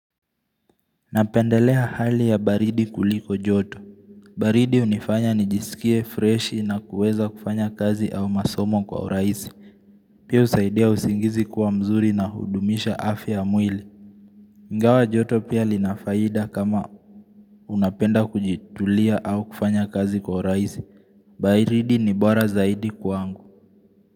Napendelea hali ya baridi kuliko joto baridi hunifanya nijisikie fresh na kuweza kufanya kazi au masomo kwa oraisi Pia husaidia usingizi kuwa mzuri na hudumisha afya mwili Ingawa joto pia linafaida kama unapenda kujitulia au kufanya kazi kwa urahisi baridi ni bora zaidi kwa angu.